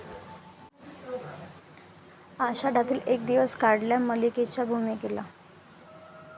आषाढातील एक दिवस 'काढल्या 'मल्लिके 'च्या भूमिकेला